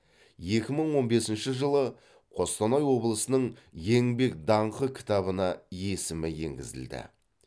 екі мың он бесінші жылы қостанай облысының еңбек даңқы кітабына есімі енгізілді